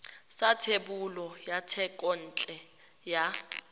sa thebolo ya thekontle ya